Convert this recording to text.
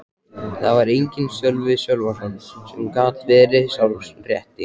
Þar var enginn Sölvi Sölvason sem gat verið sá rétti.